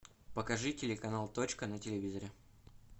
покажи телеканал точка на телевизоре